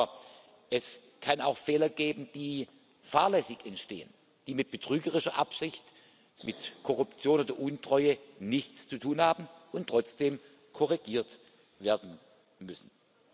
Aber es kann auch Fehler geben, die fahrlässig entstehen, die mit betrügerischer Absicht, mit Korruption oder Untreue nichts zu tun haben und trotzdem korrigiert werden müssen.